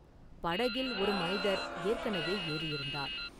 படகில் ஒரு மனிதர் ஏற்கனவே ஏறியிருந்தார்.